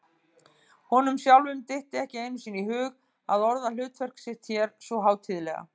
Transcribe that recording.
Honum sjálfum dytti ekki einu sinni í hug að orða hlutverk sitt hér svo hátíðlega.